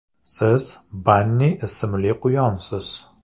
Siz – Banni ismli quyonsiz.